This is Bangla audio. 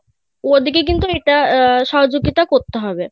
ওনাদের কে কিন্তু এটা সহযোগিতা করতে হবে